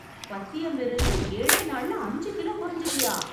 பத்தியம் இருந்து, ஏழே நாள்ள அஞ்சு கிலோ கொறஞ்சிட்டியா...